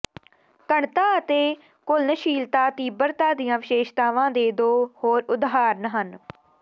ਘਣਤਾ ਅਤੇ ਘੁਲਣਸ਼ੀਲਤਾ ਤੀਬਰਤਾ ਦੀਆਂ ਵਿਸ਼ੇਸ਼ਤਾਵਾਂ ਦੇ ਦੋ ਹੋਰ ਉਦਾਹਰਣ ਹਨ